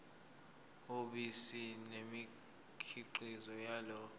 yobisi nemikhiqizo yalo